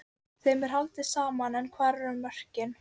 Þeim er haldið saman en hvar eru mörkin?